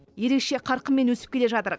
ерекше қарқынмен өсіп келе жатыр